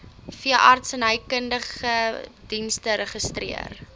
veeartsenykundige dienste geregistreer